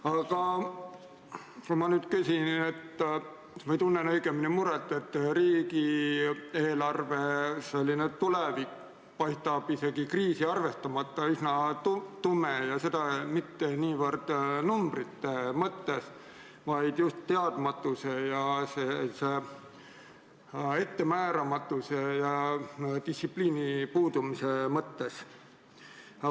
Aga ma küsin või tunnen õigemini muret, et riigieelarve tulevik paistab isegi kriisi arvestamata üsna tume ja seda mitte niivõrd numbrite mõttes, vaid just teadmatuse, ettemääramatuse ja distsipliini puudumise mõttes.